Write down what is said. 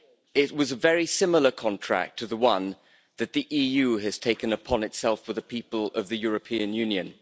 It was a very similar contract to the one that the EU has taken upon itself for the people of the European Union.